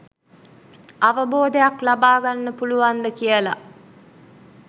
අවබෝධයක් ලබාගන්න පුළුවන්ද කියල.